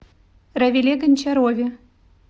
равиле гончарове